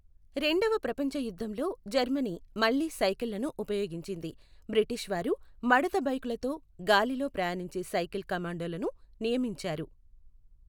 రెండవ ప్రపంచ యుద్ధంలో జర్మనీ మళ్ళీ సైకిళ్లను ఉపయోగించింది, బ్రిటిష్ వారు మడత బైకులతో గాలిలో ప్రయాణించే సైకిల్ కమాండోలను నియమించారు.